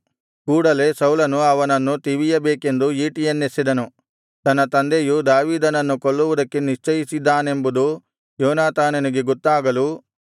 ಕೂಡಲೆ ಸೌಲನು ಅವನನ್ನು ತಿವಿಯಬೇಕೆಂದು ಈಟಿಯನ್ನೆಸೆದನು ತನ್ನ ತಂದೆಯು ದಾವೀದನನ್ನು ಕೊಲ್ಲುವುದಕ್ಕೆ ನಿಶ್ಚಯಿಸಿದ್ದಾನೆಂಬುದು ಯೋನಾತಾನಾನಿಗೆ ಗೊತ್ತಾಗಲು